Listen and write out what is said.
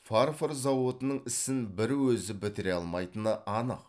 фарфор зауытының ісін бір өзі бітіре алмайтыны анық